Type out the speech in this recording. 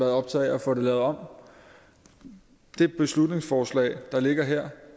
optaget af at få det lavet om det beslutningsforslag der ligger her